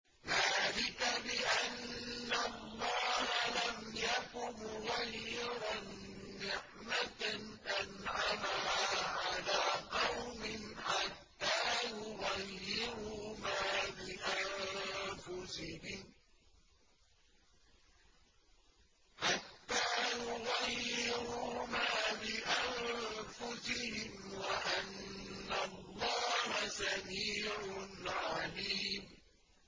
ذَٰلِكَ بِأَنَّ اللَّهَ لَمْ يَكُ مُغَيِّرًا نِّعْمَةً أَنْعَمَهَا عَلَىٰ قَوْمٍ حَتَّىٰ يُغَيِّرُوا مَا بِأَنفُسِهِمْ ۙ وَأَنَّ اللَّهَ سَمِيعٌ عَلِيمٌ